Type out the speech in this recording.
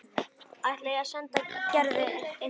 Ætlar að senda Gerði eintak.